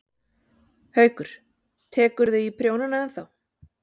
Haukur: Tekurðu í prjónana ennþá?